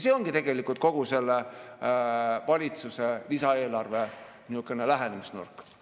See ongi tegelikult kogu selle valitsuse lisaeelarve niisugune lähenemisnurk.